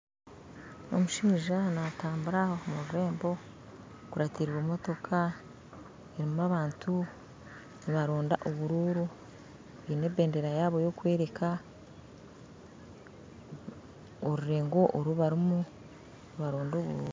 Omushijja natambura omururembo, akuratiree motooka, erimu abantu nibaronda obururu, bine ebendera yabo yokwereka, orurengo orubarumu nibaronda obururu